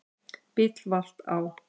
Bíll valt á